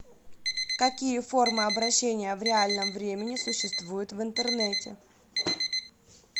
какие формы обращения в реальном времени существуют в интернете